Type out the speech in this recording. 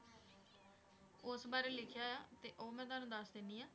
ਉਸ ਬਾਰੇ ਲਿਖਿਆ ਆ, ਤੇ ਉਹ ਮੈਂ ਤੁਹਾਨੂੰ ਦੱਸ ਦਿੰਦੀ ਹਾਂ।